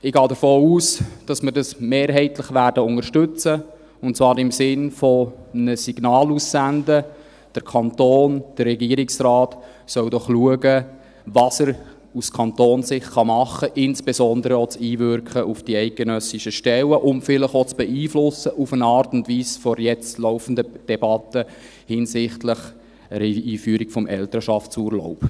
Ich gehe davon aus, dass wir dies mehrheitlich unterstützen werden, und zwar im Sinne davon, ein Signal auszusenden, der Kanton beziehungsweise der Regierungsrat solle doch schauen, was er aus Kantonssicht machen kann, insbesondere auch das Einwirken auf die eidgenössischen Stellen und vielleicht in einer Art und Weise auch das Beeinflussen der jetzt laufenden Debatte hinsichtlich einer Einführung des Elternschaftsurlaubs.